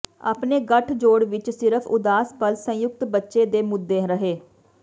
ਆਪਣੇ ਗਠਜੋੜ ਵਿਚ ਸਿਰਫ ਉਦਾਸ ਪਲ ਸੰਯੁਕਤ ਬੱਚੇ ਦੇ ਮੁੱਦੇ ਰਹੇ